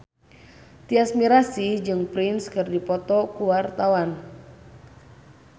Tyas Mirasih jeung Prince keur dipoto ku wartawan